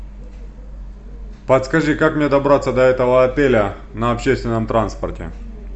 подскажи как мне добраться до этого отеля на общественном транспорте